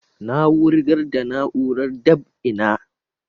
Na wugar da na'urar dab'i na